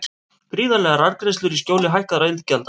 Gríðarlegar arðgreiðslur í skjóli hækkaðra iðgjalda